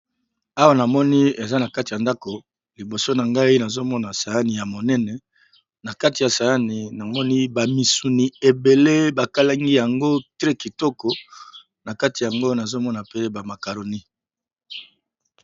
Awa na moni eza na kati ya ndako liboso na ngai nazo mona saani ya monene, na kati ya saani na moni ba misuni ebele ba kalangi yango très kitoko na kati yango nazo mona pe ba makaroni.